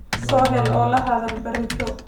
Soo hel oo la hadal berrito